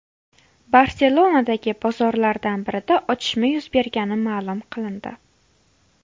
Barselonadagi bozorlardan birida otishma yuz bergani ma’lum qilindi.